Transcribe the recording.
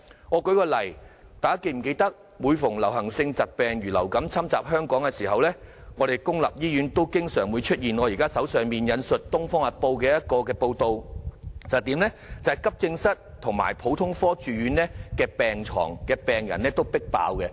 我舉一個例子，大家是否記得每逢流行性疾病如流感侵襲香港的時候，本港公立醫院經常出現我手上《東方日報》的報道，急症室及普通科住院病人"迫爆"的情況？